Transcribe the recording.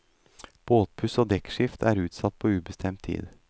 Båtpuss og dekkskift er utsatt på ubestemt tid.